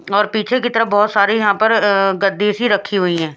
और पीछे की तरफ बहुत सारी यहां पर अ गद्दी सी रखी हुई हैं।